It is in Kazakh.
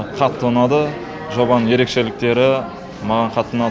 қатты ұнады жобаның ерекшеліктері маған қатты ұнады